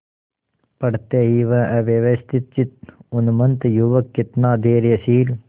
पड़ते ही वह अव्यवस्थितचित्त उन्मत्त युवक कितना धैर्यशील